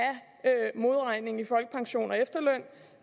modregningen i folkepension og efterløn